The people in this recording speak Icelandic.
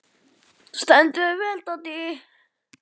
Þú stendur þig vel, Doddý!